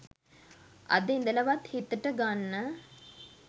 අද ඉඳලවත් හිතට ගන්න